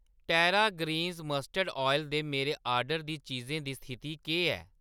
टेरा Greens mustard oil दे मेरे order दी चीजें दी स्थिति केह् ऐ?